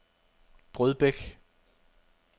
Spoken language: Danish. Brødbæk